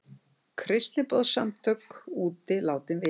Kristniboðssamtök úti látin vita